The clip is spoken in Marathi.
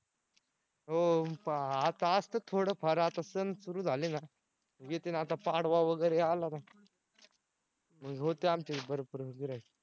हो आता असत्यात थोडंफार आता सण सुरु झाले ना येतील आता पाडवा वगैरे आला ना मग होतंय आमचं भरपूर गिर्हाईक